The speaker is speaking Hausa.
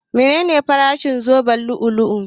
Menene farashin wannan zoben lu'u-lu'u?